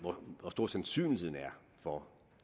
stor sandsynligheden er for